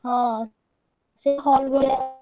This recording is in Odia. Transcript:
ହଁ, ସେ hall ଭଳିଆ।